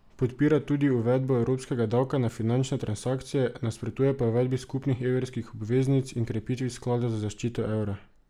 Podpira tudi uvedbo evropskega davka na finančne transakcije, nasprotuje pa uvedbi skupnih evrskih obveznic in krepitvi sklada za zaščito evra.